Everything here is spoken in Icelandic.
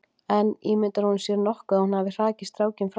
En ímyndar hún sér nokkuð að hún hafi hrakið strákinn frá sér?